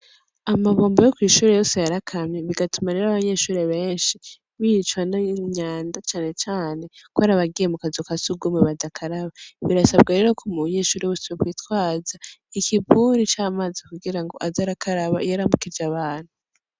Amabombo yo kw'ishure yose yarakamye bigatuma rero abanyeshure benshi bicwa n'imyanda canecane ko arabagiye mu kazu ka sugumwe badakaraba birasabwa rero ko mu banyeshuri bose bokwitwaza ikibuni c'amazi kugira ngo aze arakaraba iyo aramukije abantu.